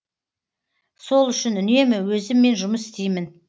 сол үшін үнемі өзіммен жұмыс істеймін